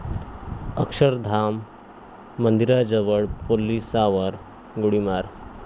अक्षरधाम मंदिराजवळ पोलिसांवर गोळीबार